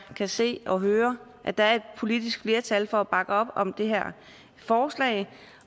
kan se og høre at der er et politisk flertal for at bakke op om det her forslag